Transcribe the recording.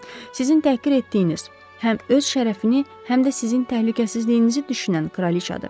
Sizin təhqir etdiyiniz, həm öz şərəfini, həm də sizin təhlükəsizliyinizi düşünən kraliçadır.